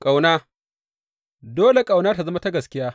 Ƙauna Dole ƙauna tă zama ta gaskiya.